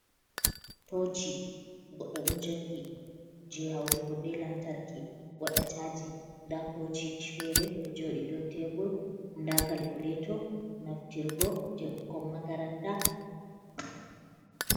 Toci goɗɗo ɗo jogi je hautugo be lantarki waɗata chaji. Nda tociji fere ɗo joɗi dow tebur, nda kalkuleto naftirgo je ɓukkon makaranta.